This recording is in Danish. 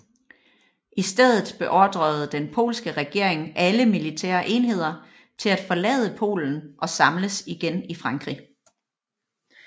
I stedet beordrede den polske regering alle militære enheder til at forlade Polen og samles igen i Frankrig